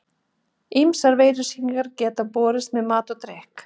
Ýmsar veirusýkingar geta borist með mat og drykk.